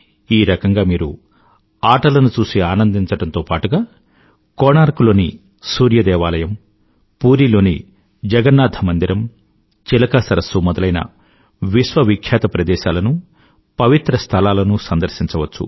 ఈ రకంగా మీరు ఆటలను చూసి ఆనందించడంతో పాటుగా కోణార్క్ లోని సూర్య దేవాలయం పూరీ లోని జగన్నాథ మందిరం చిలకా సరస్సు మొదలైన విశ్వవిఖ్యాత ప్రదేశాలనూ పవిత్ర స్థలాలనూ సందర్శించవచ్చు